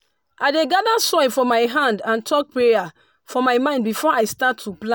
i dey gather soil for my hand and talk prayer for my mind before i start to plant.